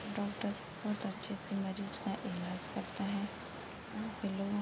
Doctor बहुत अच्छे से मरीज़ का इलाज़ करते हैं। यहाँ पे लोग --